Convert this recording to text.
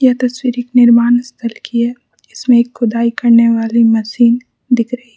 यह तस्वीर एक निर्माण स्थल की है इसमें एक खुदाई करने वाली मशीन दिख रही--